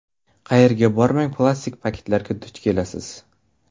Qayerga bormang plastik paketlarga duch kelasiz.